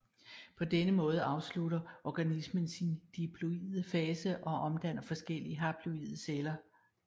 På den måde afslutter organismen sin diploide fase og danner adskillige haploide celler